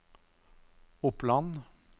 Oppland